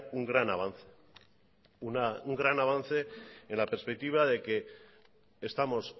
un gran avance un gran avance en la perspectiva de que estamos